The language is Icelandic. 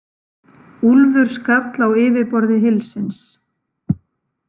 Úlfur skall á yfirborði hylsins.